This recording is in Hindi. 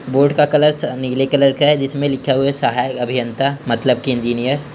बोर्ड का कलर नीले कलर का है जिसमे लिखा हुआ है सहायक अभियंता मतलब के एंजिनीयर ।